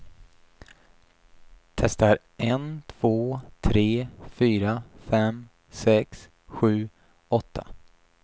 Testar en två tre fyra fem sex sju åtta.